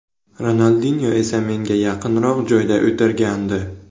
Ronaldinyo esa menga yaqinroq joyda o‘tirgandi.